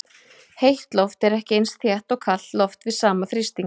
Heitt loft er ekki eins þétt og kalt loft við sama þrýsting.